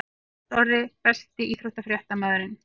Lárus Orri Besti íþróttafréttamaðurinn?